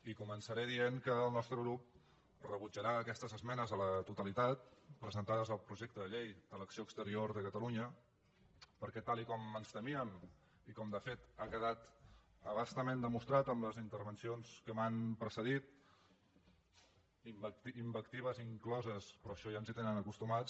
i començaré dient que el nostre grup rebutjarà aquestes esmenes a la totalitat presentades al projecte de llei de l’acció exterior de catalunya perquè tal com ens teníem i com de fet ha quedat a bastament demostrat amb les intervencions que m’han precedit invectives incloses però a això ja ens hi tenen acostumats